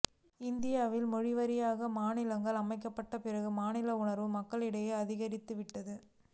இந்தியாவில் மொழிவாரியாக மாநிலங்கள் அமைக்கப்பட்ட பிறகு மாநில உணர்வு மக்களிடையே அதிகரித்துவிட்டது